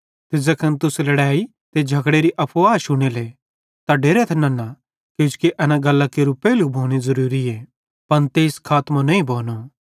ते ज़ैखन तुस लड़ेइयरी त उलझनरी अफुवां शुनेले त डेरथ नन्ना किजोकि एन गल्लां केरू पेइले भोनू ज़रूरीए पन तेइसे खातमों नईं भोनो